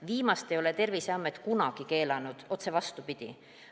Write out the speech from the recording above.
Viimast ei ole Terviseamet kunagi keelanud, otse vastupidi.